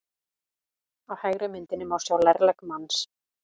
Á hægri myndinni má sjá lærlegg manns.